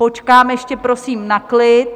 Počkám ještě prosím na klid.